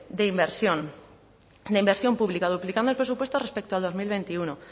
de inversión de inversión pública duplicando el presupuesto respecto al dos mil veintiuno